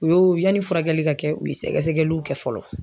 U y'o yanni furakɛli ka kɛ, u ye sɛgɛsɛgɛliw kɛ fɔlɔ.